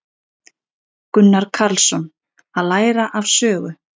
Gunnar Karlsson: Að læra af sögu.